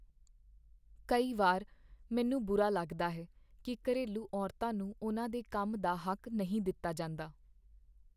ਕਈ ਵਾਰ ਮੈਨੂੰ ਬੁਰਾ ਲੱਗਦਾ ਹੈ ਕੀ ਘਰੇਲੂ ਔਰਤਾਂ ਨੂੰ ਉਨ੍ਹਾਂ ਦੇ ਕੰਮ ਦਾ ਹੱਕ ਨਹੀਂ ਦਿੱਤਾ ਜਾਂਦਾ।